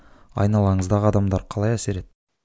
айналаңыздағы адамдар қалай әсер етті